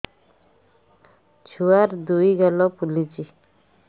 ଛୁଆର୍ ଦୁଇ ଗାଲ ଫୁଲିଚି